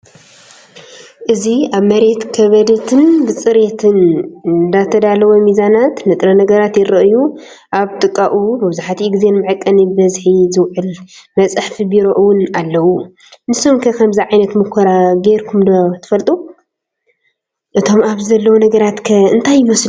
እዚ ኣብ መሬት ከበድትን ብጽሬት እተዳለወን ሚዛናት ንጥረ ነገራት ይረኣዩ። ኣብ ጥቓኡ መብዛሕትኡ ግዜ ንመዐቀኒ ብዝሒ ዚውዕል መፅሓፊ ቢሮ እውን ኣለው። ንሶምከ ከምዚ ዓይነት ሙኮራ ገይርኩም ዶ ትፈልጡ? እቶም ኣብዚ ዘለዉ ነገራትከ እንታይ ይመስሉ ?